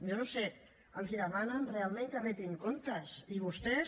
jo no ho sé els demanen que retin comptes i vostès